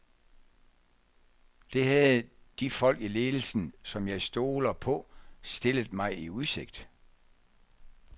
Det havde de folk i ledelsen, som jeg stoler på, stillet mig i udsigt.